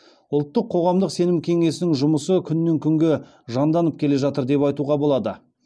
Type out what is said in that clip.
ұлттық қоғамдық сенім кеңесінің жұмысы күннен күнге жанданып келе жатыр деп айтуға болады